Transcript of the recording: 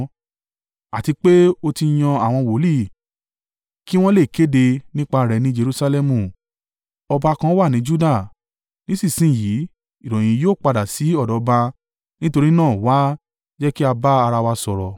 àti pé ó ti yan àwọn wòlíì kí wọn lè kéde nípa rẹ̀ ní Jerusalẹmu: ‘Ọba kan wà ní Juda!’ Nísinsin yìí, ìròyìn yìí yóò padà sí ọ̀dọ̀ ọba; nítorí náà wá, jẹ́ kí a bá ara wa sọ̀rọ̀.”